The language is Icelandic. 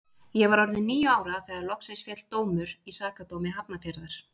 Ég var orðin níu ára þegar loksins féll dómur í Sakadómi Hafnarfjarðar.